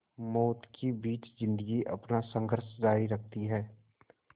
मौत के बीच ज़िंदगी अपना संघर्ष जारी रखती है